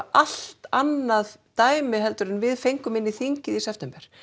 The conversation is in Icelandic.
allt annað dæmi heldur en við fengum inn í þingið í september